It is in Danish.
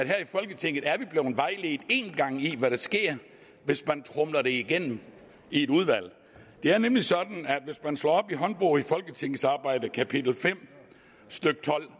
her i folketinget en gang er i hvad der sker hvis man tromler noget igennem i et udvalg det er nemlig sådan at hvis man slår op i håndbog i folketingsarbejdet kapitel fem stykke tolv